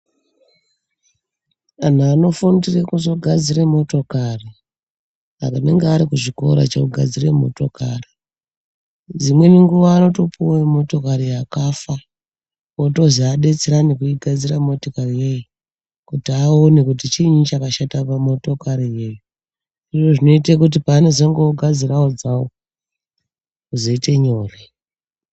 Anhu anofundire kuzogadzire motokari, anenga ari kuchikora chekugadzire motokari, dzimweni nguva anotopuwe motokari yakafa, otozi adetserane kuigadzira motikari yoiyi ,kuti aone kuti chiini chakashata pamotokari yoiyi. Izvo zvinoite kuti pavanezenge vozogadzirawo dzavo zvizoite nyore.